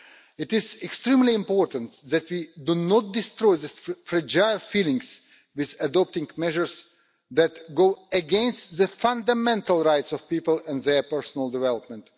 It is extremely important that we do not destroy these fragile feelings by adopting measures that go against the fundamental rights of people and their personal development.